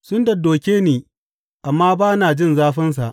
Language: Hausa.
Sun daddoke ni, amma ba na jin zafinsa!